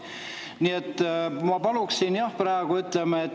Nii et ma paluksin seda, jah.